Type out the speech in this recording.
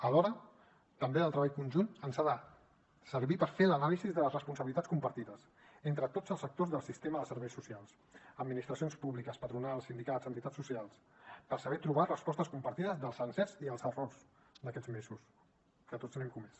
alhora també el treball conjunt ens ha de servir per fer l’anàlisi de les responsabilitats compartides entre tots els actors del sistema de serveis socials administracions públiques patronals sindicats entitats socials per saber trobar respostes compartides dels encerts i els errors d’aquests mesos que tots n’hem comès